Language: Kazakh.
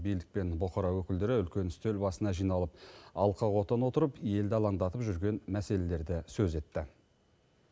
билік пен бұқара өкілдері үлкен үстел басына жиналып алқа қотан отырып елді алаңдатып жүрген мәселелерді сөз етті